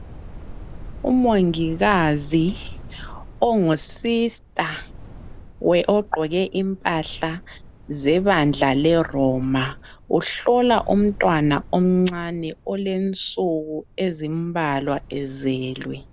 Umongikazi ongu sister ,ogqoke impahla zebandla leRoma uhlola umntwana omncane olensuku ezimbalwa ezelwe.